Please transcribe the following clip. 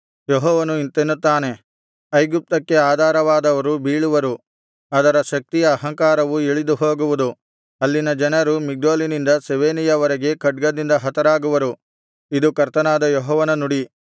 ಯೆಹೋವನು ಇಂತೆನ್ನುತ್ತಾನೆ ಐಗುಪ್ತಕ್ಕೆ ಆಧಾರವಾದವರು ಬೀಳುವರು ಅದರ ಶಕ್ತಿಯ ಅಹಂಕಾರವು ಇಳಿದು ಹೋಗುವುದು ಅಲ್ಲಿನ ಜನರು ಮಿಗ್ದೋಲಿನಿಂದ ಸೆವೇನೆಯವರೆಗೆ ಖಡ್ಗದಿಂದ ಹತರಾಗುವರು ಇದು ಕರ್ತನಾದ ಯೆಹೋವನ ನುಡಿ